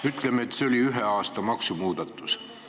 Ütleme, et see oli ühe aasta maksumuudatus.